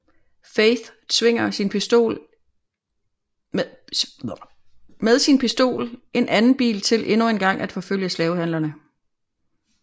Faith tvinger med sin pistol en anden bil til endnu engang at forfølge slavehandlerne